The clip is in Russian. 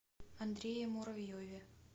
андрее муравьеве